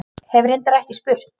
Hef reyndar ekki spurt.